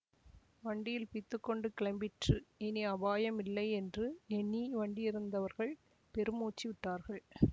வண்டி பிய்த்துக் கொண்டு கிளம்பிற்று இனி அபாயம் இல்லை என்று எண்ணி வண்டியிலிருந்தவர்கள் பெருமூச்சு விட்டார்கள்